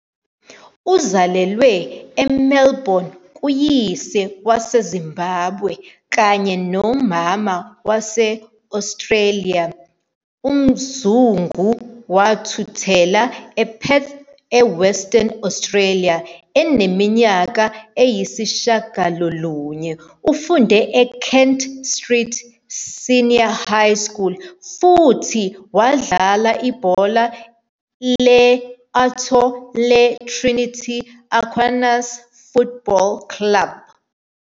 Uzalelwe eMelbourne kuyise waseZimbabwe kanye nomama wase -Australia, uMzungu wathuthela ePerth, eWestern Australia, eneminyaka eyisishiyagalolunye. Ufunde e- Kent Street Senior High School, futhi wadlala ibhola le-ateur le-Trinity Aquinas Football Club.